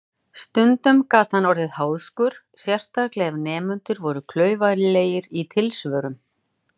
Stundum gat hann orðið háðskur, sérstaklega ef nemendur voru klaufalegir í tilsvörum.